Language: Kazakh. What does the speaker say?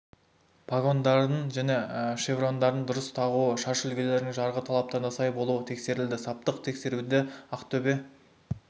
погондарын және шеврондарын дұрыс тағуы шаш үлгілерінің жарғы талаптарына сай болуы тексерілді саптық тексеруді ақтөбе